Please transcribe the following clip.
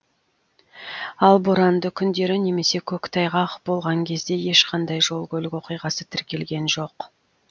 ал боранды күндері немесе көктайғақ болған кезде ешқандай жол көлік оқиғасы тіркелген жоқ